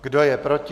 Kdo je proti?